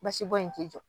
Basibɔn in ti jɔ